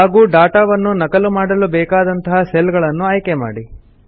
ಹಾಗೂ ಡಾಟಾವನ್ನು ನಕಲು ಮಾಡಲು ಬೇಕಾದಂತಹ ಸೆಲ್ ಗಳನ್ನು ಆಯ್ಕೆ ಮಾಡಿ